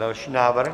Další návrh.